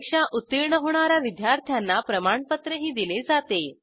परीक्षा उत्तीर्ण होणा या विद्यार्थ्यांना प्रमाणपत्रही दिले जाते